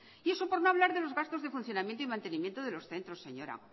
y eso por no hablar de los gastos de funcionamiento y mantenimiento de los centros señora